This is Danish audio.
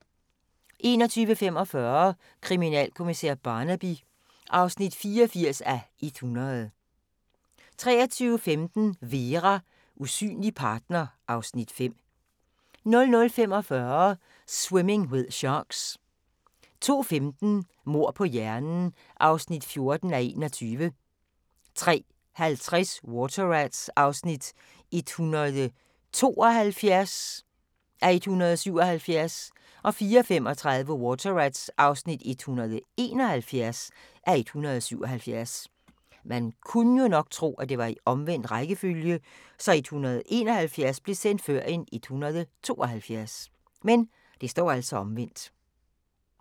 21:45: Kriminalkommissær Barnaby (84:100) 23:15: Vera: Usynlig partner (Afs. 5) 00:45: Swimming with Sharks 02:15: Mord på hjernen (14:21) 03:50: Water Rats (172:177) 04:35: Water Rats (171:177)